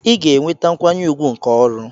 Ị ga-enweta nkwanye ùgwù nke ọrụ.